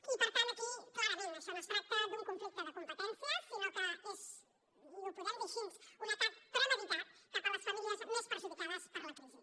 i per tant aquí clarament això no es tracta d’un conflicte de competències sinó que és i ho podem dir així un atac premeditat cap a les famílies més perjudicades per la crisi